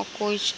और कुछ